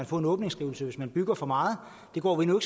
få en åbningsskrivelse hvis man bygger for meget det går vi nu